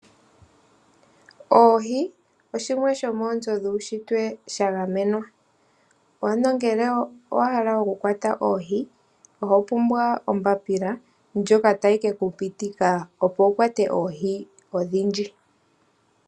Oohi oshimwe shomoonzo dhowushitwe sha gamenwa ano ngele owa hala oku kala hokwata oohi oho pumbwa ombaapila ndjoka tayi keku pitika opo wu kwate oohi odhindji.